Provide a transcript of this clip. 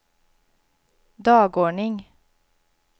dagordning